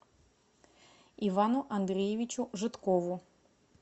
ивану андреевичу жидкову